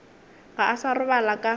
ga a sa robala ka